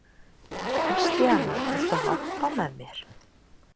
Kristíana, viltu hoppa með mér?